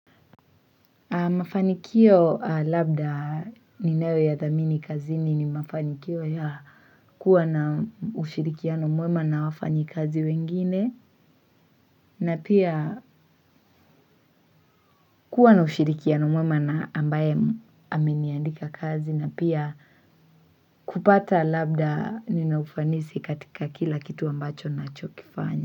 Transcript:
Mafanikio labda ninayoyathamini kazini ni mafanikio ya kuwa na ushirikiano mwema na wafanyikazi wengine na pia kuwa na ushirikiano mwema na ambaye ameniandika kazi na pia kupata labda ninaufanisi katika kila kitu ambacho nachokifanya.